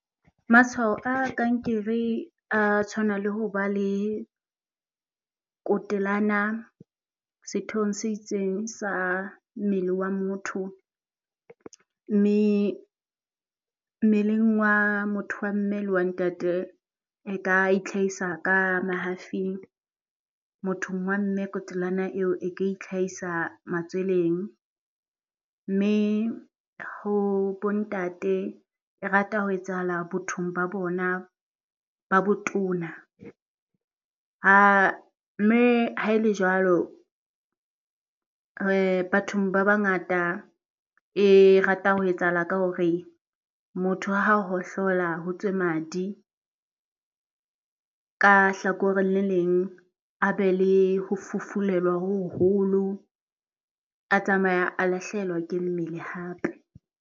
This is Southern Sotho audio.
Matshwao a kankere a tshwana le ho ba le kotelana sethong se itseng sa mmele wa motho. Mme mmeleng wa motho wa mme le wa ntate e ka itlhahisa ka mahafing. Mothong wa mme kotelana eo e ka itlhahisa matsweleng mme ho bo ntate e rata ho etsahala bothong ba bona ba botona. Mme ha e le jwalo bathong ba ba ngata e rata ho etsahala ka hore motho ha hohlola ho tswe madi, ka hlakoreng le leng a be le ho fufulelwa ho hoholo, a tsamaye a lahlehelwa ke mmele hape.